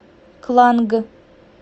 кланг